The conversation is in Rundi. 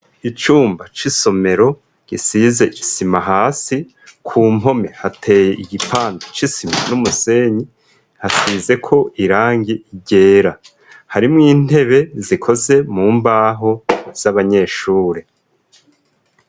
Icumba c'isomero gisize isima hasi, ku mpome hateye igipando c'isima n'umusenyi, hasize ko irangi ryera. Harimwo intebe zikoze mu mbaho, z'abanyeshure.